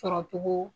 Sɔrɔcogo